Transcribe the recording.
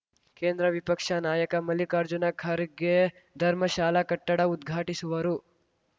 ಕೇಂದ್ರ ವಿಪಕ್ಷ ನಾಯಕ ಮಲ್ಲಿಕಾರ್ಜುನ ಖರ್ಗೆ ಧರ್ಮಶಾಲಾ ಕಟ್ಟಡ ಉದ್ಘಾಟಿಸುವರು